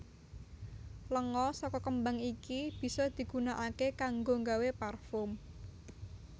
Lenga saka kembang iki bisa digunaaké kanggo nggawé parfum